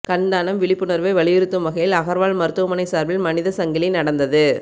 கண் தானம் விழிப்புணர்வை வலியுறுத்தும் வகையில் அகர்வால் மருத்துவமனை சார்பில் மனித சங்கிலி நடந்தது